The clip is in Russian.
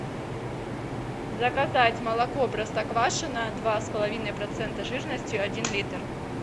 заказать молоко простоквашино два с половиной процента жирности один литр